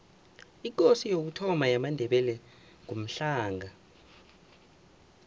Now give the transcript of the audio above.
ikosi yokuthoma yamandebele ngumhlanga